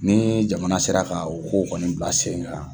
Ni jamana sera ka o kow kɔni bila sen kan.